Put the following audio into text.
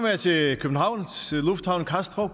jeg til københavns lufthavn i kastrup